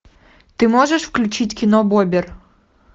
ты можешь включить кино бобер